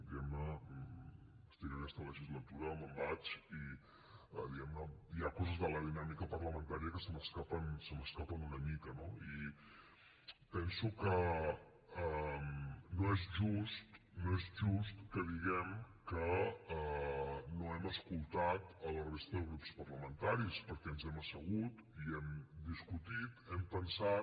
diguem ne estic aquesta legislatura me’n vaig i diguem ne hi ha coses de la dinàmica parlamentària que se m’escapen una mica no i penso que no és just no és just que diguem que no hem escoltat a la resta de grups parlamentaris perquè ens hem assegut i hem discutit hem pensat